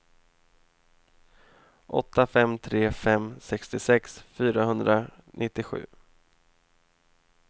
åtta fem tre fem sextiosex fyrahundranittiosju